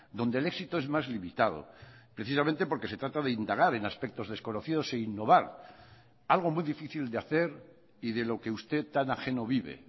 donde el éxito es más limitado precisamente porque se trata de indagar en aspectos desconocidos e innovar algo muy difícil de hacer y de lo que usted tan ajeno vive